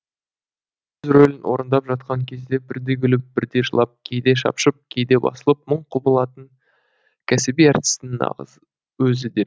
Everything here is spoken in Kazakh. өз рөлін орындап жатқан кезде бірде күліп бірде жылап кейде шапшып кейде басылып мың құбылатын кәсіби әртістің нағыз өзі дер